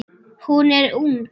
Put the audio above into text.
Hún er ung.